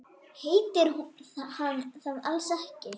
Heitir hann það alls ekki?